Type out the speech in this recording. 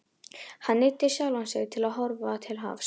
Hann neyddi sjálfan sig til að horfa til hafs.